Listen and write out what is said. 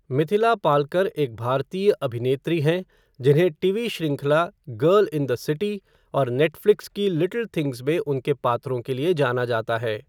मिथिला पालकर एक भारतीय अभिनेत्री हैं जिन्हें टीवी श्रृंखला गर्ल इन द सिटी और नेटफ़्लिक्स की लिटिल थिंग्स में उनके पात्रों के लिए जाना जाता है।